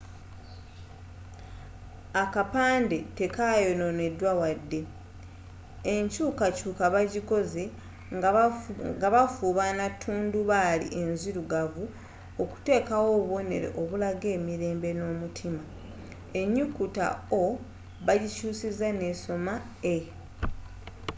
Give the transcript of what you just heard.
akapandde tekayinonedwa wadde. enkyukakyuka bajikoze nga bafuna tundubali enzilugavu okutekawo obubonero obulaga emirembe n’omutima. enyukuta o” bajikyusiza n’esoma e